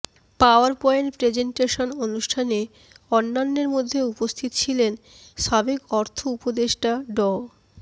power point presentation অনুষ্ঠানে অন্যান্যের মধ্যে উপস্থিত ছিলেন সাবেক অর্থ উপদেষ্টা ড